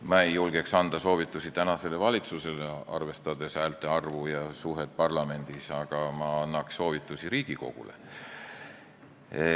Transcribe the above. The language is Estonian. Ma ei julgeks anda soovitusi tänasele valitsusele, arvestades häälte arvu ja suhet parlamendis, aga ma annaks soovitusi Riigikogule.